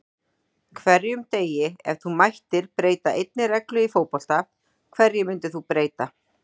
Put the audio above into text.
hverjum degi Ef þú mættir breyta einni reglu í fótbolta, hverju myndir þú breyta?